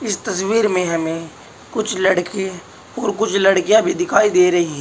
इस तस्वीर में हमें कुछ लड़के और कुछ लड़कियाँ भी दिखाई दे रही हैं।